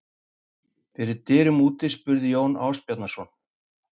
Fyrir dyrum úti spurði Jón Ásbjarnarson